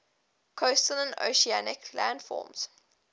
coastal and oceanic landforms